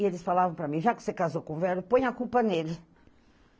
E eles falavam para mim, já que você casou com velho, põe a culpa nele.